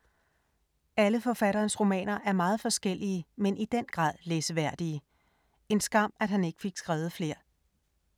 Alle forfatterens romaner er meget forskellige, men i den grad læseværdige. En skam, at han ikke fik skrevet flere.